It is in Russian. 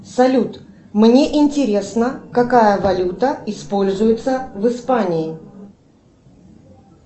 салют мне интересно какая валюта используется в испании